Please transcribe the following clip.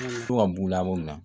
To ka b'u la ko min na